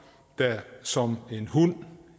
der som en hund